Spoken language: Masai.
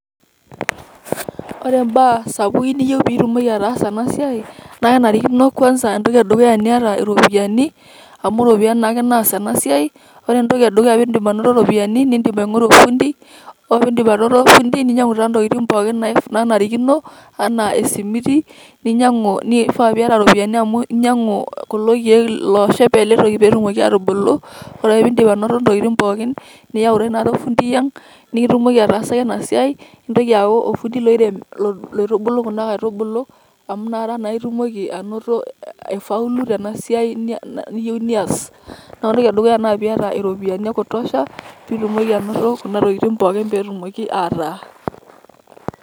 Ore imbaa sapukin niyieu pitumoki ataasa enasiai, na kenarikino kwansa entoki edukuya niata iropiyiani, amu iropiyiani naake naas enasiai. Ore entoki edukuya pidip anoto ropiyaiani, nidim aing'oru ofundi. Ore pidip anoto ofindi, ninyang'u taa ntokiting' pookin nanarikino, enaa esimiti, ninyang'u nifaa piata ropiyaiani amu ninyang'u kulo keek loshep eletoki petumoki atubulu. Ore ake pidip anoto intokiting' pookin, niyau ta taata ofundi ang',nikitumoki ataasaki enasiai. Nintoki ayau ofundi loirem loitubulu kuna aitubulu, amu nakata naa itumoki anoto aifaulu tenasiai niyieu nias. Ore entoki edukuya na piata iropiyiani ekutosha, pitumoki anoto kuna tokiting' pookin petumoki ataa.